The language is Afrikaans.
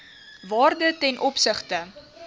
waarde ten opsigte